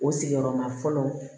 O sigiyɔrɔma fɔlɔ